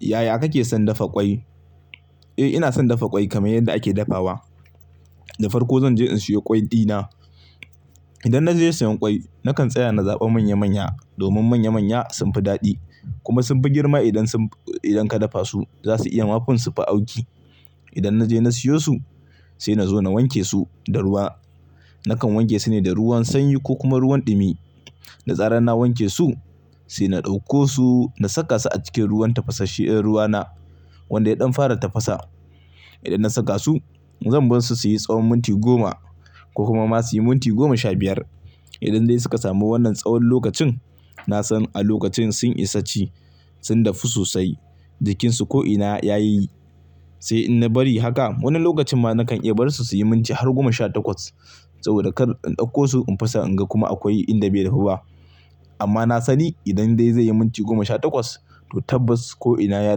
Yaya kake son dafa ƙwai? Eh ina son dafa ƙwai kamar yadda ake dafawa. Da farko zan je in siyo ƙwai dina. Idan na je sayan ƙwai, nakan tsaya na zaɓa manya manya domin manya manya sun fi daɗi kuma sun fi girma idan ka dafa su, za su iya mafin sufi auki. Idan na je na siyo su, sai na zo na wanke su da ruwa. Nakan wanke su ne da ruwan sanyi ko kuma ruwan ɗumi. Da zarar na wanke su sai na ɗauko su na saka su a cikin ruwan tafasasshen ruwa na wanda ya ɗan fara tafasa. Idan na saka su, zan bar su su yi tsawon minti goma ko kuma ma su yi minti goma sha biyar. Idan dai suka samu wannan tsawon lokacin, na san a lokacin sun isa ci, sun dafu sosai, jikinsu ko'ina ya yi. Sai in na bari haka, wani lokacin ma nakan iya bar su su yi minti har goma sha takwas saboda kar in ɗauko su in fasa in ga kuma akwai inda bai dafu ba. Amma na sani idan dai zai yi minti goma sha takwas, to tabbas ko'ina ya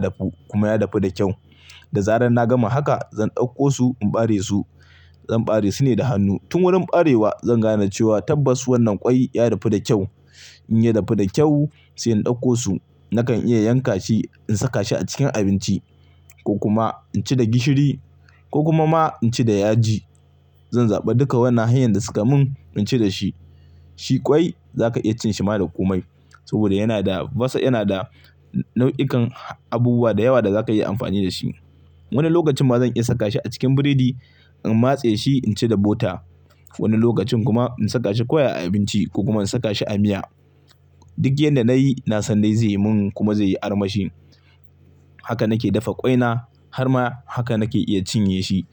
dafu kuma ya dafu da kyau. Da zarar na gama haka zan ɗauko su in bare su. Zan bare su ne da hannu. Tun wurin barewa zan gane cewa tabbas wannan ƙwai ya dafu da kyau. In ya dafu da kyau sai in ɗauko su nakan iya yanka shi in saka shi a cikin abinci ko kuma in ci da gishiri ko kuma ma in ci da yaji. Zan zaɓa duka wannan hanyar da suka mun in ci da shi. Shi ƙwai za ka iya cin shi ma da komai saboda yana da basa, yana da nau'ikan abubuwa da yawa da za ka iya amfani da shi. Wani lokacin ma zan iya saka shi a cikin burodi in matse shi in ci da butter. Wani lokacin kuma in saka shi koya a abinci ko kuma in saka shi a miya. Duk yanda na yi, na san dai zai mun kuma zai yi armashi. Haka nake dafa ƙwai na har ma haka nake iya cinye shi.